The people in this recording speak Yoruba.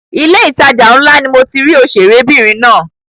Ilé ìtajà ńlá ni mo ti rí òṣèré obìnrin náà.